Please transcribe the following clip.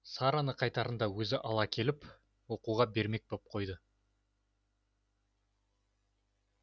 сараны қайтарында өзі ала кетіп оқуға бермек боп қойды